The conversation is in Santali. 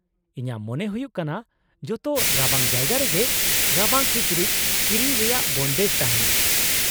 -ᱤᱧᱟᱹᱜ ᱢᱚᱱᱮ ᱦᱩᱭᱩᱜ ᱠᱟᱱᱟ ᱡᱚᱛᱚ ᱨᱟᱵᱟᱝ ᱡᱟᱭᱜᱟ ᱨᱮᱜᱮ ᱨᱟᱵᱟᱝ ᱠᱤᱪᱨᱤᱡ ᱠᱤᱨᱤᱧ ᱨᱮᱭᱟᱜ ᱵᱚᱱᱫᱮᱡ ᱛᱟᱦᱮᱱᱟ ᱾